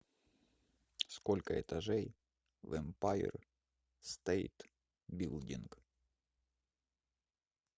сколько этажей в эмпайр стейт билдинг